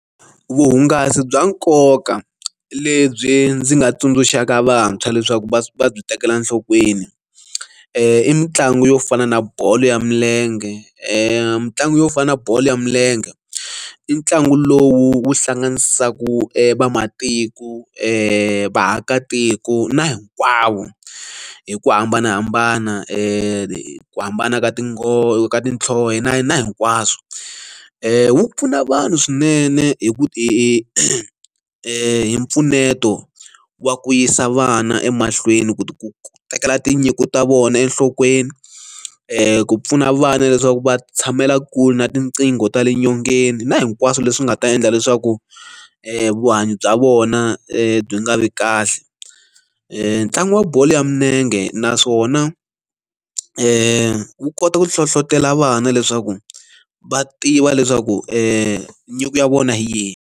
Vuhungasi bya nkoka lebyi ndzi nga tsundzuxaka vantshwa leswaku va va byi tekela enhlokweni i mitlangu yo fana na bolo ya milenge i mitlangu yo fana na bolo ya milenge i ntlangu lowu hlanganisaka vamatiko vaakatiko na hinkwavo hi ku hambanahambana ku hambana ka tinghozi ka tinhlozo na na hinkwaswo wu pfuna vanhu swinene hi ku ti hi mpfuneto wa ku yisa vana emahlweni ku tekela tinyiko ta vona enhlokweni ku pfuna vana leswaku va tshamela kule na tinqingho ta le nyongeni na hinkwaswo leswi nga ta endla leswaku vuhanyo bya vona byi nga vi kahle ntlangu wa bolo ya milenge naswona ku kota ku hlohlotelo vana leswaku va tiva leswaku nyiko ya vona hi yihi.